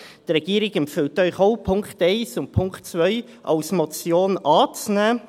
Die Regierung empfiehlt Ihnen auch, den Punkt 1 und den Punkt 2 als Motion anzunehmen.